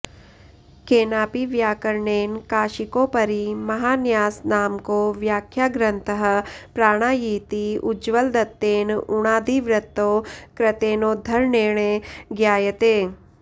केनापि वैयाकरणेन काशिकोपरि महान्यासनामको व्याख्याग्रन्थः प्राणा यीति उज्ज्वलदत्तेन उणादिवृत्तौ कृतेनोद्धरणेने ज्ञायते